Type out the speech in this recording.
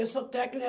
Eu sou técnico em.